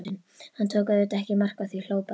Hann tók auðvitað ekki mark á því, hló bara.